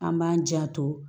An b'an janto